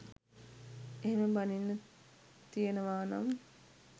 එහෙම බනින්න තියනවානම්